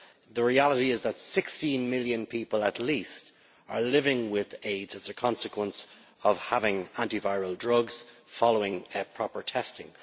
The reality is that 16 million people at least are living with AIDS as a consequence of having antiretroviral drugs following proper testing.